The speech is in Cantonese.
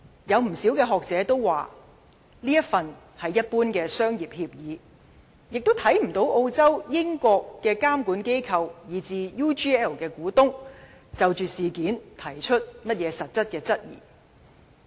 有不少學者認為，該份協議只是一般商業協議，亦看不到澳洲、英國的監管機構，以至 UGL 的股東，曾就着事件提出任何實質質疑。